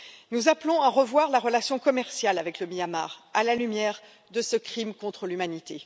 Nous appelons à revoir la relation commerciale avec le Myanmar, à la lumière de ce crime contre l'humanité.